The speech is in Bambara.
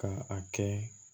Ka a kɛ